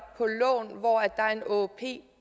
på lån hvor der er en åop